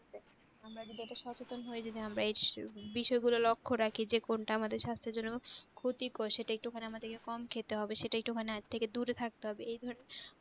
আমরা যদি একটু সচেতন হই, যদি আমরা এই বিষয় গুলা লক্ষ্য রাখি যে কোনটা আমাদের সাস্থের জন্য ক্ষতিকর সেটা একটু খানি আমাদের কম খেতে হবে সেটা একটু খানি হাত থেকে দূরে থাকতে হবে